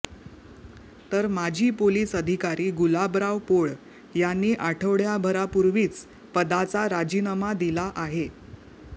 तर माजी पोलिस अधिकारी गुलाबराव पोळ यांनी आठवड्याभरापूर्वीच पदाचा राजीनामा दिला आहे